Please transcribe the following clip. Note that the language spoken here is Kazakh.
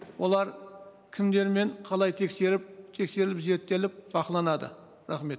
олар кімдермен қалай тексеріліп зерттеліп бақыланады рахмет